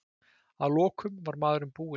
Að lokum var maðurinn búinn.